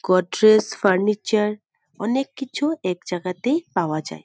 কট্রেস furniture অনেক কিছু এক জায়গাতেই পাওয়া যায় ।